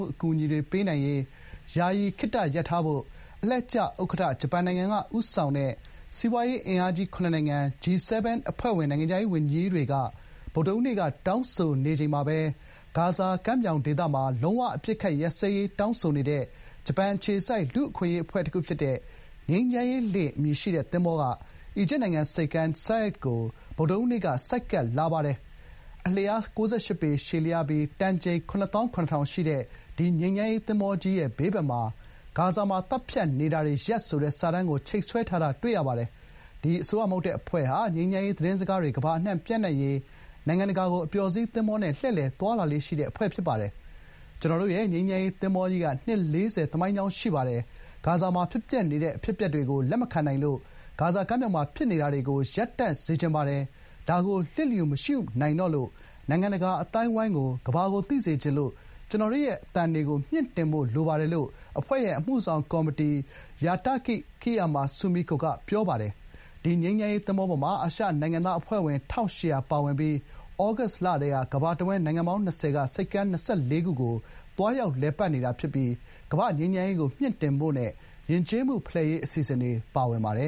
ှု အကူအညီတွေပေးနိုင်ရေး ယာယီခေတ္တရပ်ထားဖို့ အလှည့်ကျဥက္ကဋ္ဌဖြစ်တဲ့ဂျပန်နိုင်ငံက ဦးဆောင်တဲ့ စီးပွားရေးအင်အားကြီး ၇ နိုင်ငံ (G-7) အဖွဲ့ဝင် နိုင်ငံခြားရေးဝန်ကြီးတွေက ဗုဒ္ဓဟူးနေ့က တောင်းဆိုလိုက်ပါတယ်။ တချိန်တည်းမှာပဲ ဂါဇာကမ်းမြောင်ဒေသမှာ လုံးဝအပစ်အခတ်ရပ်စဲရေး တောင်းဆိုနေတဲ့ ဂျပန်အခြေစိုက် လူ့အခွင့်အရေးအဖွဲ့တခု ဖြစ်တဲ့ 'ငြိမ်းချမ်းရေးလှေ' အမည်ရှိတဲ့ သင်္ဘောက အီဂျစ်နိုင်ငံ ဆိပ်ကမ်း Said ကို ဗုဒ္ဓဟူးနေ့ (နိုဝင်ဘာ ၈ ရက်) က ဆိုက်ကပ်လာပါတယ်။ အလျား ၉၈ ပေ ရှည်လျားပြီး တန်ချိန် ၇၇,၀၀၀ ရှိတဲ့ ဒီငြိမ်းချမ်းရေးသင်္ဘောကြီးရဲ့ ဘေးဘက်မှာ “ဂါဇာမှာ သတ်ဖြတ်နေတာတွေရပ်” ဆိုတဲ့ စာတန်းကို ချိတ်ဆွဲထားတာတွေကို တွေ့ရပါတယ်။ ဒီ အစိုးရမဟုတ်တဲ့အဖွဲ့ဟာ ငြိမ်းချမ်းရေး သတင်းစကားတွေ ကမ္ဘာအနှံ့ပျံ့နှံ့ရေး နိုင်ငံတကာကို အပျော်စီးသင်္ဘောနဲ့ လှည့်လည်သွားလာလေ့ရှိတဲ့အဖွဲ့ ဖြစ်ပါတယ်။ "ကျနော်တို့ရဲ့ ငြိမ်းချမ်းရေး သင်္ဘောကြီး နှစ် ၄၀ သမိုင်းကြောင်းရှိပါတယ်။ ဂါဇာမှာ ဖြစ်ပျက်နေတဲ့အဖြစ်အပျက်တွေကို လက်မခံနိုင်လို့ ဂါဇာကမ်းမြောင်မှာ ဖြစ်ပျက်နေတာတွေကို ရပ်တန့်စေချင်ပါတယ်။ ဒါကို လျစ်လျူမရှုနိုင်တော့လို့ နိုင်ငံတကာအသိုင်းအဝိုင်းကို၊ ကမ္ဘာကို သိစေချင်လို့ ကျနော်တို့ရဲ့ အသံတွေမြှင့်တင်ဖို့ လိုပါတယ်” လို့ အဖွဲ့ရဲ့ အမှုဆောင် ကော်မတီဝင် Hatakeyama Sumiko က ပြောပါတယ်။ ဒီ ငြိမ်းချမ်းရေးသင်္ဘောပေါ်မှာ အာရှနိုင်ငံသား အဖွဲ့ ၁,၈၀၀ ပါဝင်ပြီး သြဂုတ်လကတည်း ကမ္ဘာတဝန်း နိုင်ငံပေါင်း ၂၀ က ဆိပ်ကမ်း ၂၄ ခု ကို သွားရောက်လည်ပတ်နေတာဖြစ်ပြီး ကမ္ဘာ့ ငြိမ်းချမ်းရေးကို မြှင့်တင်ဖို့နဲ့ ယဉ်ကျေးမှုဖလှယ်ရေးအစီအစဉ်တွေ ပါဝင်ပါတယ